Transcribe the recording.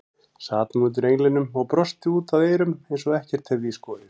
Sat nú undir englinum og brosti út að eyrum eins og ekkert hefði í skorist.